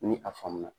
Ni a faamu na